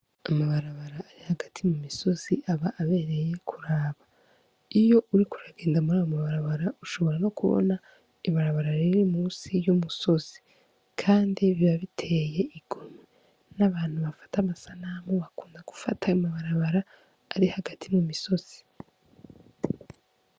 Amabarabara ari hagati mu misozi aba abereye kuraba iyo uri kuragenda muri abo mabarabara ushobora no kubona ibarabara riri musi y'umusozi, kandi biba biteye igumwe n'abantu bafata amasa namwu bakunda gufata amabarabara ari hagati mu misozi.